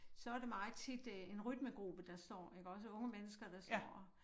Så er det meget tit øh en rytmegruppe der står ikke også unge mennesker der står og